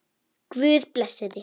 Guð blessi þig.